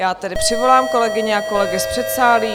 Já tedy přivolám kolegyně a kolegy z předsálí.